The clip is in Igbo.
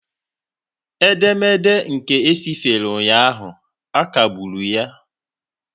Edemede nke e sifere ụnyaahụ, a kagburu ya